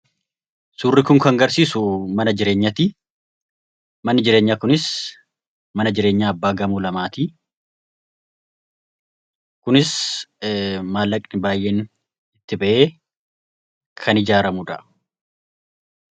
Suurri kun kan agarsiisu mana jireenyaati. Manni jireenyaa kunis mana jireenyaa abbaa darbii lamaati. Kunis maallaqni baay'een itti ba'ee kan ijaaramudha.